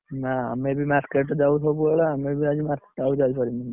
ନା ଆମେ ବି market ସବୁବେଳେ ଆମେ ବି market ଆଜି ଯାଇପାରିବୁନି।